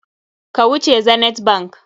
Ka wuce Zenith bank!